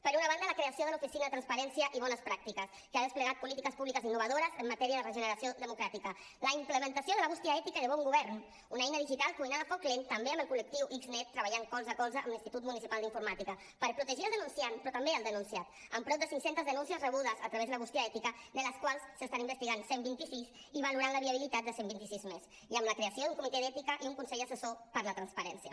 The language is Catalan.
per una banda la creació de l’oficina per la transparència i les bones pràctiques que ha desplegat polítiques públiques innovadores en matèria de regeneració democràtica la implementació de la bústia ètica i de bon govern una eina digital cuinada a foc lent també amb el col·lectiu xnet i treballant colze a colze amb l’institut municipal d’informàtica per protegir el denunciant però també el denunciat amb prop de cinc centes denúncies rebudes a través de la bústia ètica de les quals se n’estan investigant cent i vint sis i valorant la viabilitat de cent i vint sis més i amb la creació d’un comitè d’ètica i un consell assessor per la transparència